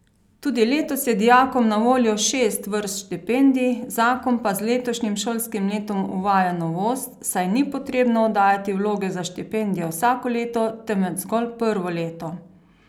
Tudi letos je dijakom na voljo šest vrst štipendij, zakon pa z letošnjim šolskim letom uvaja novost, saj ni potrebno oddajati vloge za štipendije vsako leto, temveč zgolj prvo leto.